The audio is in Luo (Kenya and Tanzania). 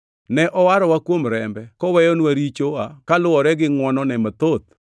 Ne owarowa kuom rembe koweyonwa richowa koluwore gi ngʼwonone mathoth.